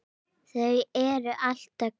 Þau eru alltaf hvít.